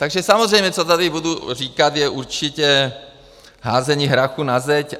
Takže samozřejmě co tady budu říkat, je určitě házení hrachu na zeď.